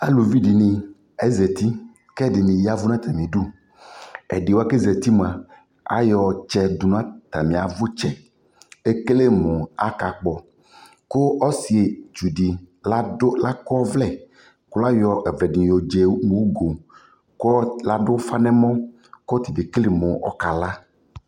Alʋvidι nι ezati kʋ ɛdι nι yavu nʋ atami udu Ɛdιwa kʋ ezati mʋa ayɔ ɔtsɛ dʋ nʋ atami avutsɛ, ekele mʋ akakpɔ mʋ ɔsitsu dι ladʋ lakɔ ɔvlɛ kʋ layɔ ɔvlɛdι nι yodze nʋ ugo kʋ ladʋ fa nʋ ɛmɔ kʋ ɔtikekele mʋ ɔkala